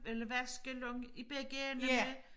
Eller vaske lang i begge enderne